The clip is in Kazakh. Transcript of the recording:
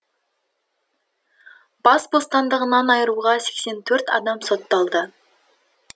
бас бостандығынан айыруға сексен төрт адам сотталды